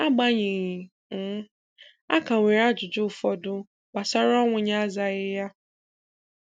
Agbanyeghị, um a ka nwere ajụjụ ụfọdụ gbasara ọnwụ ya azaghị ya.